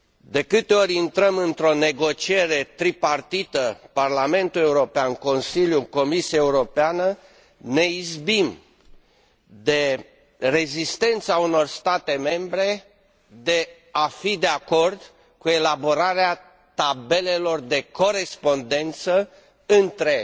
De câte ori intrăm într o negociere tripartită Parlamentul European Consiliu Comisia Europeană ne izbim de rezistența unor state membre în a fi de acord cu elaborarea tabelelor de corespondență între